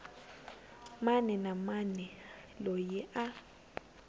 mani na mani loyi a